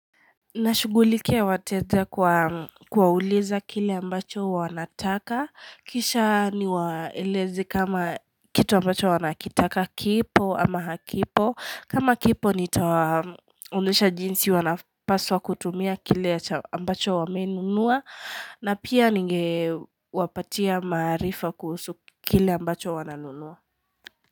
Nashugulike wateteja kwa kuwauliza kile ambacho wanataka kisha niwaeleze kama kitu ambacho wanakitaka kipo ama hakipo kama kipo nitawaonyesha jinsi wanapaswa kutumia kile ambacho wamenunua na pia ningewapatia maarifa kuhusu kile ambacho wananunua.